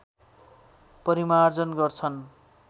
परिमार्जन गर्छन्